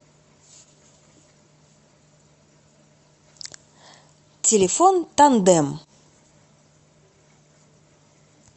телефон тандем